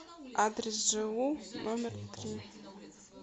адрес жэу номер три